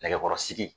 Nɛgɛkɔrɔsigi